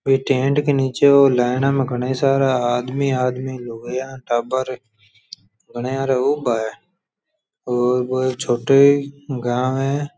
वे tent के निचे line में घणा सारा आदमी आदमी लुगाईया टाबर घनिया ऊबा है और एक छोटो गांव है।